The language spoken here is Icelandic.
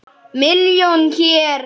Milljón hér.